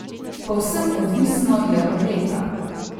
Povsem odvisno je od leta.